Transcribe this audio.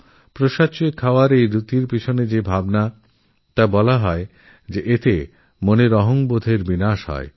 প্রসাদ চেয়ে খাওয়ার এই রীতির পেছনে এই যুক্তিও দেওয়া হয় যেএতে অহঙ্কার নষ্ট হয়